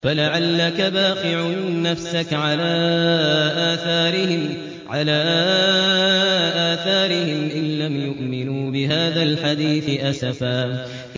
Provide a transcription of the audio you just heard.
فَلَعَلَّكَ بَاخِعٌ نَّفْسَكَ عَلَىٰ آثَارِهِمْ إِن لَّمْ يُؤْمِنُوا بِهَٰذَا الْحَدِيثِ أَسَفًا